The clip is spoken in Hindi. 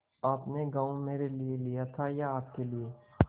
आपने गॉँव मेरे लिये लिया था या अपने लिए